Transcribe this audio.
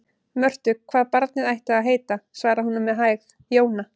Mörtu hvað barnið ætti að heita, svaraði hún með hægð: Jóna.